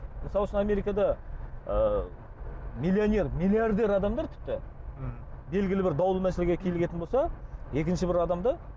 мысал үшін америкада ыыы миллионер миллиардер адамдар тіпті мхм белгілі бір даулы мәселеге килігетін болса екінші бір адамды